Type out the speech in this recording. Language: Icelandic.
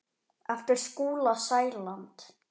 eftir Skúla Sæland